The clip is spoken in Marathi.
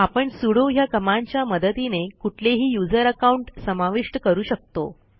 आपण सुडो ह्या कमांडच्या मदतीने कुठलेही यूझर अकाउंट समाविष्ट करू शकतो